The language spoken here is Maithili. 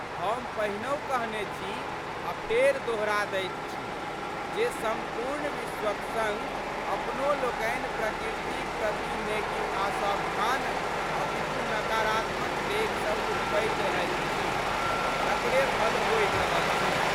हम पहिनहुँ कहने छी आ फेर दोहरा दैत छी जे सम्पूर्ण विश्वक सङ अपनो लोकनि प्रकृतिक प्रति ने कि असावधान अपितु नकारात्मक डेग सभ उठबैत रहैत छी तकरे फल भोगि रहल छी।